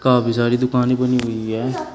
काफी सारी दुकानें बनी हुई है।